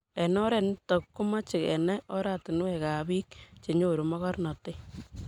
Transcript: eng oret nitok ko kimache kenai oratinwek ab piik che nyoru mogornantet